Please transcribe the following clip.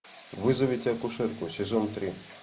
вызовите акушерку сезон три